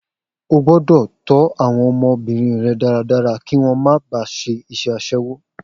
O gbọ́dọ̀ tó àwọn ọmọbìnrin rẹ dáradára kí wọn máa ba ṣe iṣẹ́ asẹ́wó